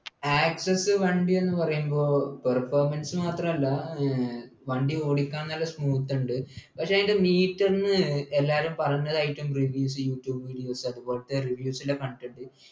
access വണ്ടി എന്നു പറയുമ്പോൾ performance മാത്രമല്ല ഏർ വണ്ടി ഓടിക്കാൻ നല്ല smooth ഉണ്ട് പക്ഷേ അതിൻ്റെ meter നെ എല്ലാവരും പറഞ്ഞതായിട്ടും reviews യൂട്യൂബ് videos അതുപോലെ reviews ൽ കണ്ടിട്ടുണ്ട്